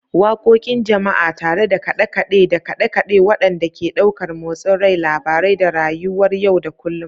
Waƙoƙin Jama'a tare da kaɗe-kaɗe da kaɗe-kaɗe waɗanda ke ɗaukar motsin rai, labarai, da rayuwar yau da kullun.